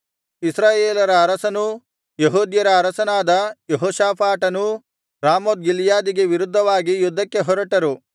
ಇಸ್ರಾಯೇಲರ ಅರಸನೂ ಯೆಹೂದ್ಯರ ಅರಸನಾದ ಯೆಹೋಷಾಫಾಟನೂ ರಾಮೋತ್ ಗಿಲ್ಯಾದಿಗೆ ವಿರುದ್ಧವಾಗಿ ಯುದ್ಧಕ್ಕೆ ಹೊರಟರು